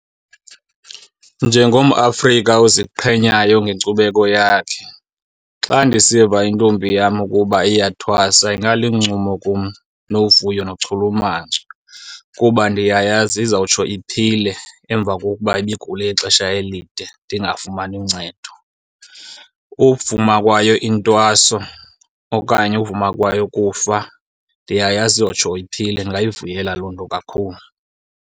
NjengomAfrika oziqhenyayo ngenkcubeko yakhe, xa ndisiva intombi yam ukuba iyathwasa ingaluncumo kum novuyo nochulumanco kuba ndiyayazi izawutsho iphile emva kokuba ibigule ixesha elide ndingafumani uncedo. Uvuma kwayo intwaso okanye uvuma kwayo ukufa ndiyayazi iyotsho iphile ndingayivuyela loo nto kakhulu.